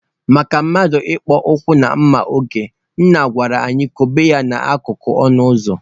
Maka mmadụ ịkpọ ụkwụ na mma oge, Nne gwara anyị kwụba ha n'akụkụ ọnụ ụzọ.